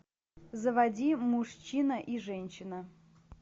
заводи мужчина и женщина